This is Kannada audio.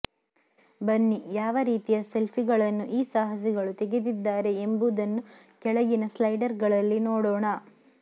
ಬನ್ನಿ ಯಾವ ರೀತಿಯ ಸೆಲ್ಫಿಗಳನ್ನು ಈ ಸಾಹಸಿಗಳು ತೆಗೆದಿದ್ದಾರೆ ಎಂಬುದನ್ನು ಕೆಳಗಿನ ಸ್ಲೈಡರ್ಗಳಲ್ಲಿ ನೋಡೋಣ